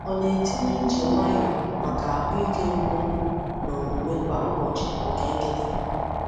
Ọ na-etinye ije nwayọ maka ahụ ike nkwonkwo na omume kwa ụbọchị nke nkịta.